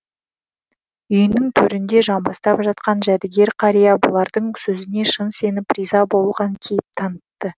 үйінің төрінде жамбастап жатқан жәдігер қария бұлардың сөзіне шын сеніп риза болған кейіп танытты